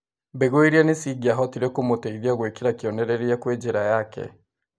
Mbegũ iria nĩcingĩahotire kũmũteithia gwĩkĩra kĩonereria kwĩ njĩra yake.